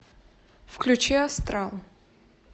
включи астрал